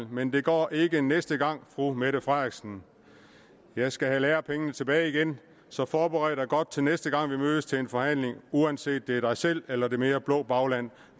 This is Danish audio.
men det går ikke næste gang fru mette frederiksen jeg skal have lærepengene tilbage igen så forbered dig godt til næste gang vi mødes til en forhandling uanset om det er dig selv eller det mere blå bagland